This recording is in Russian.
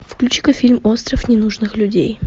включи ка фильм остров ненужных людей